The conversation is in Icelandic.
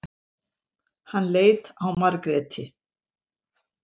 Hann leit á Margréti.